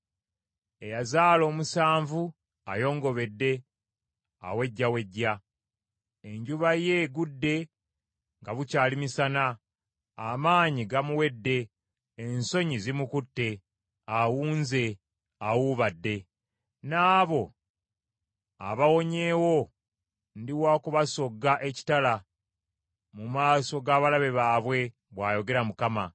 Eyazaala omusanvu ayongobedde, awejjawejja. Enjuba ye egudde nga bukyali misana, amaanyi gamuwedde, ensonyi zimukutte, awuunze, awuubadde. N’abo abawonyeewo ndi wa kubasogga ekitala, mu maaso ga balabe baabwe,” bwayogera Mukama .